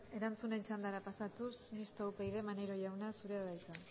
erantzunen txandara pasatuz mistoa upyd maneiro jauna zurea da hitza